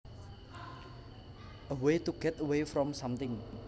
A way to get away from something